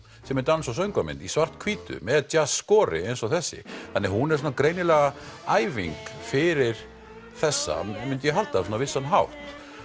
sem er dans og söngvamynd í svarthvítu með eins og þessi hún er greinilega æfing fyrir þessa myndi ég halda á vissan hátt